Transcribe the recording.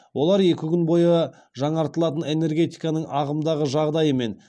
олар екі күн бойы жаңартылатын энергетиканың ағымдағы жағдайы мен